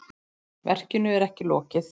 Verkinu er ekki lokið.